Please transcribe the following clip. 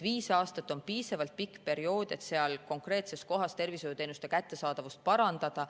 Viis aastat on piisavalt pikk periood, et seal konkreetses kohas tervishoiuteenuste kättesaadavust parandada.